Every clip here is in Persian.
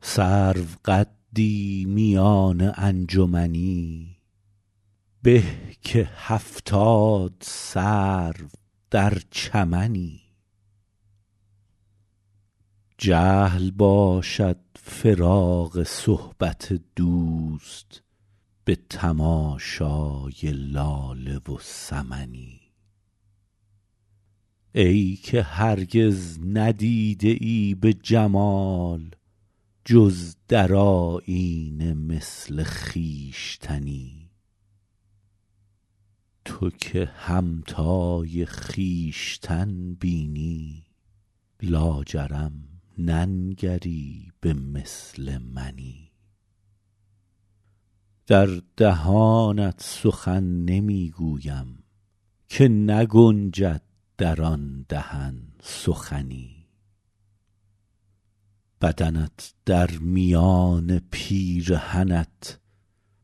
سروقدی میان انجمنی به که هفتاد سرو در چمنی جهل باشد فراق صحبت دوست به تماشای لاله و سمنی ای که هرگز ندیده ای به جمال جز در آیینه مثل خویشتنی تو که همتای خویشتن بینی لاجرم ننگری به مثل منی در دهانت سخن نمی گویم که نگنجد در آن دهن سخنی بدنت در میان پیرهنت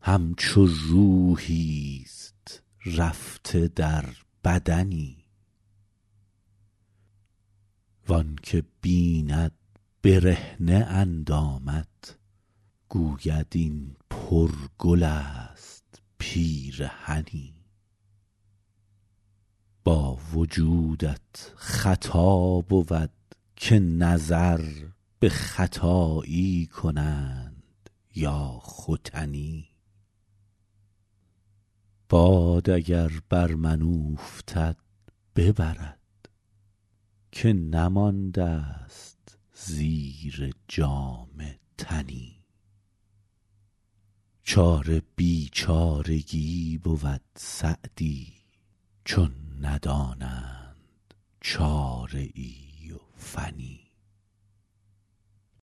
همچو روحیست رفته در بدنی وآن که بیند برهنه اندامت گوید این پرگل است پیرهنی با وجودت خطا بود که نظر به ختایی کنند یا ختنی باد اگر بر من اوفتد ببرد که نمانده ست زیر جامه تنی چاره بیچارگی بود سعدی چون ندانند چاره ای و فنی